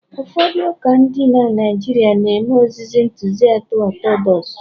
ụfọdụ ụka dị na Naijiria na-eme ozizi Ntụziaka Ọtọdọks